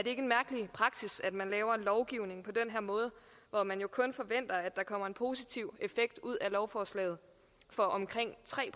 en mærkelig praksis at man laver lovgivning når man kun forventer at der kommer en positiv effekt ud af lovforslaget for omkring tre